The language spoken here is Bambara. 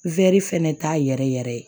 fɛnɛ t'a yɛrɛ yɛrɛ ye